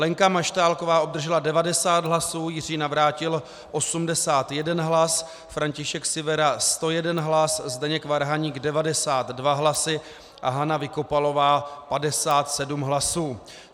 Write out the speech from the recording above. Lenka Maštálková obdržela 90 hlasů, Jiří Navrátil 81 hlas, František Sivera 101 hlas, Zdeněk Varhaník 92 hlasů a Hana Vykopalová 57 hlasů.